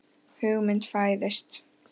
Hugmynd fæðist.